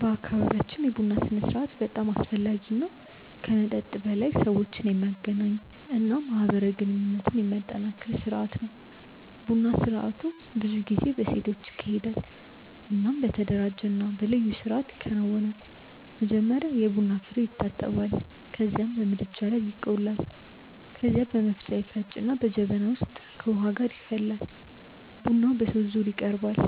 በአካባቢያችን የቡና ስርአት በጣም አስፈላጊ እና ከመጠጥ በላይ ሰዎችን የሚያገናኝ እና ማህበራዊ ግንኙነትን የሚያጠናክር ስርአት ነው። ቡና ስርአቱ ብዙ ጊዜ በሴቶች ይካሄዳል እናም በተደራጀ እና በልዩ ስርአት ይከናወናል። መጀመሪያ የቡና ፍሬዉ ይታጠባል ከዚያም በምድጃ ላይ ይቆላል። ከዚያ በመፍጫ ይፈጭና በጀበና ውስጥ ከውሃ ጋር ይፈላል። ቡናው በሶስት ዙር ይቀርባል፤